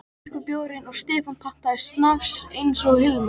Þeir drukku bjórinn og Stefán pantaði snafs eins og Hilmar.